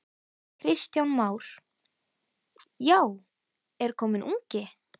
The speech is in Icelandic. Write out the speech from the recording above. Kristján Már: Já, er kominn ungi?